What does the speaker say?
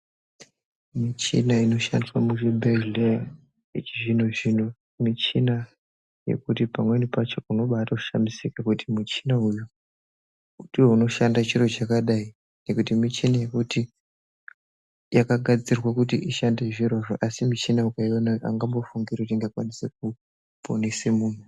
Michina inoshandiswa muzvibhedhlera yechizvinozvino michina yekuti pamweni pacho unombatoshamisika kuti muchina uyu ndiwo unoshanda chiro chakadai. Ngokuti muchini yekuti yakagadzirwa kuti ishande zvirozvo. Asi michini ukaiona aungambofungi kuti ingakwanisa kuponesa muntu.